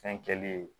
Fɛn kɛlen